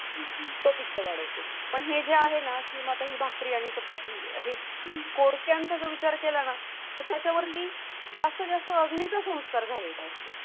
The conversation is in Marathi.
तो पित्त वाढवतो पण हे जे आहे ना किंवा तुम्ही भाकरी आणि चपाती हे कोड स्कॅनचा विचार केला ना तर त्याच्यावरती जास्त जास्त अग्नीचा संस्कार झालेला असतो.